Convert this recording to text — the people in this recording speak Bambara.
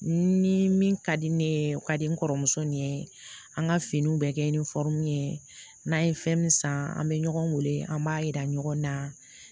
Ni min ka di ne ye o ka di n kɔrɔmuso ni ye an ka finiw bɛɛ kɛ ni ye n'an ye fɛn min san an bɛ ɲɔgɔn wele an b'a yira ɲɔgɔn na